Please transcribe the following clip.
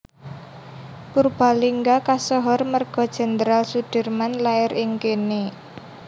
Purbalingga kasohor merga Jenderal Soedirman lair ing kene